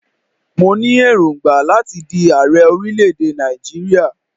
Mo ní èròngbà láti di ààrẹ orílẹ̀-èdè Nàìjíríà.